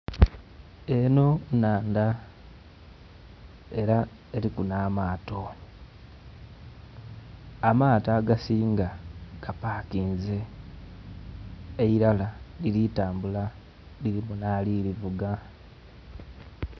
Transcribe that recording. Eno nnhandha, era eliku n'amaato, amaato agasinga gapakinze eilara liri kutambula lirimu n'ari kulivuga.